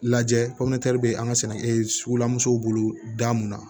Lajɛ bɛ an ka sɛnɛ sugulansow bolo da mun na